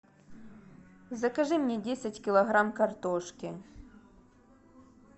закажи мне десять килограмм картошки